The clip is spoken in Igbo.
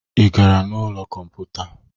Ị gara ụlọ kọmputa?